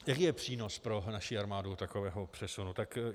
Jaký je přínos pro naši armádu takového přesunu?